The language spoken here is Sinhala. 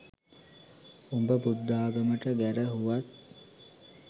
උඹ බුද්ධාගමට ගැරහුවත්